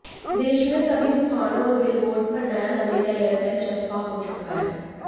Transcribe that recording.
देश में सभी दुकानों और बिलबोर्ड पर नया नवेला एयरटेल चस्पां हो चुका है